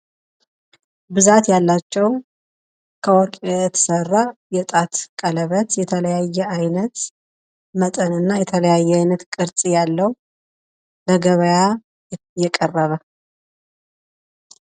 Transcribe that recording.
ብዛት ያላቸው ከወርቅ የተሰራ የጣት ቀለበት የተለያየ አይነት መጠንና የተለያየ አይነት ቅርፅ ያለው ለገብያ የቀረበ።